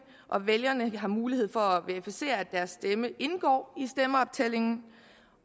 og vælgeren har mulighed for at verificere at deres stemme indgår i stemmeoptællingen